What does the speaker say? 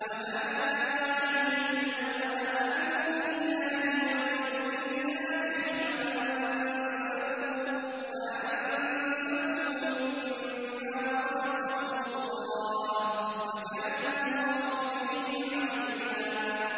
وَمَاذَا عَلَيْهِمْ لَوْ آمَنُوا بِاللَّهِ وَالْيَوْمِ الْآخِرِ وَأَنفَقُوا مِمَّا رَزَقَهُمُ اللَّهُ ۚ وَكَانَ اللَّهُ بِهِمْ عَلِيمًا